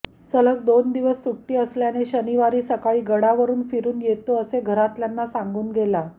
सलग दोन दिवस सुट्टी असल्याने शनिवारी सकाळी गडावरून फिरून येतो असे घरातल्यांना सांगून गेला